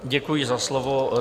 Děkuji za slovo.